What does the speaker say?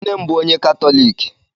Nne m bụ onye Katọlik